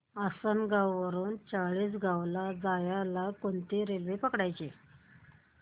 आसनगाव वरून चाळीसगाव ला जायला कोणती रेल्वे पकडायची